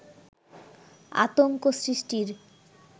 আতঙ্ক সৃষ্টির